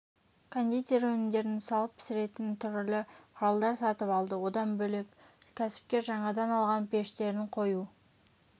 кондитер өнімдерін салып пісіретін түрлі құралдар сатып алды одан бөлек кәсіпкер жаңадан алған пештерін қою